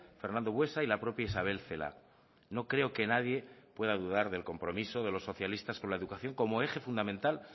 fernando buesa y la propia isabel celaá no creo que nadie pueda dudar del compromiso de los socialistas con la educación como eje fundamental